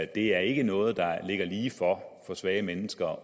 det er ikke noget der ligger lige for for svage mennesker at